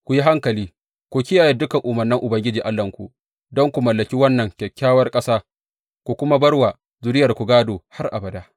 Ku yi hankali ku kiyaye dukan umarnan Ubangiji Allahnku don ku mallaki wannan kyakkyawar ƙasa ku kuma bar wa zuriyarku gādo har abada.